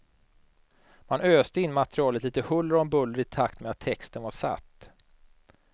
Man öste in materialet lite huller om buller, i takt med att texten var satt.